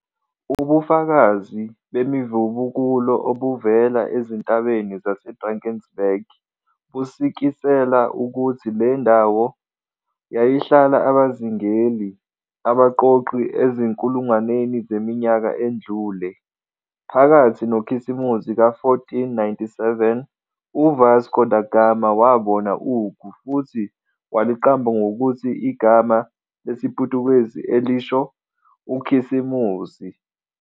Ubufakazi bemivubukulo obuvela ezintabeni zaseDrakensberg busikisela ukuthi le ndawo yayihlala abazingeli-abaqoqi ezinkulungwaneni zeminyaka edlule. Phakathi noKhisimusi ka-1497, U-Vasco da Gama wabona ugu futhi waliqamba ngokuthi i, igama lesiPutukezi elisho UKhisimusi.